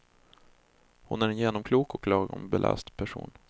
Hon är en genomklok och lagom beläst person.